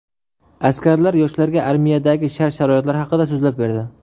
Askarlar yoshlarga armiyadagi shart-sharoitlar haqida so‘zlab berdi.